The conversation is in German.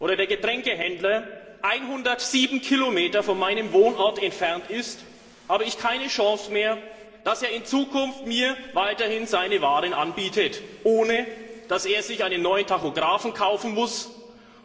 oder der Getränkehändler 107 Kilometer von meinem Wohnort entfernt ist, habe ich keine Chance mehr, dass er mir in Zukunft weiterhin seine Waren anbietet, ohne dass er sich einen neuen Tachografen kaufen muss,